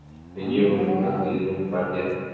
எதுவும் பாத்தியா